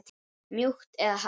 Mjúkt eða hart?